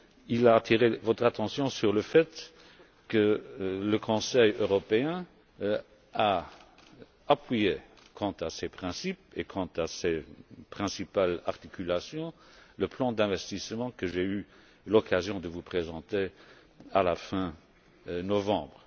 Il a attiré votre attention sur le fait que le Conseil européen a appuyé, quant à ses principes et quant à ses principales articulations, le plan d'investissement que j'ai eu l'occasion de vous présenter à la fin novembre.